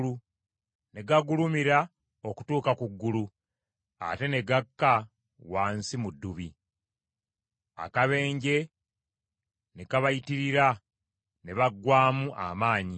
Ne gagulumira okutuuka ku ggulu, ate ne gakka wansi mu ddubi; akabenje ne kabayitirira, ne baggwaamu amaanyi.